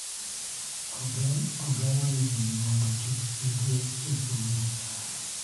Ogeng�o nyiri mondo kik gidhi e somo.